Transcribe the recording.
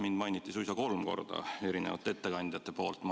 Mind mainiti suisa kolm korda eri ettekannetes.